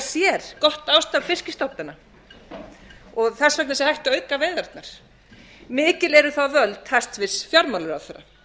sér gott ástand fiskstofnanna og að þess vegna sé hægt að auka veiðarnar mikil eru þá völd hæstvirtur fjármálaráðherra